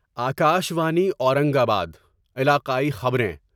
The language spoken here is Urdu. آکاشوانی اورنگ آباد علاقائی خبریں